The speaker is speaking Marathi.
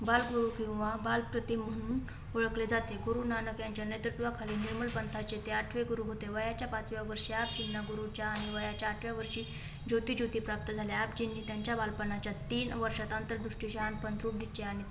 बाळ गुरु किंवा बाल प्रति म्हणून ओळखले जाते. गुरु नानक यांच्या नेतृत्वाखाली निर्मल पंथाचे ते आठवे गुरू होते. वयाच्या पाचव्या वर्षात त्यांना गुरुच्या आणि वयाच्या आठव्या वर्षी ज्योति ज्योती प्राप्त झाल्या. आप जींनी त्यांच्या बालपणाच्या तीन वर्षात आंतरदृष्टी, शहाणपण, द्रुढनिश्चय आणि